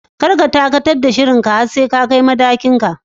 Kar ka dakatar da shirin ka har sai ka kai matakin ka